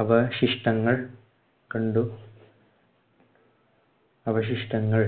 അവശിഷ്‌ടങ്ങൾ കണ്ടു. അവശിഷ്‌ടങ്ങൾ